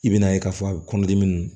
I bɛn'a ye k'a fɔ a bɛ kɔnɔdimi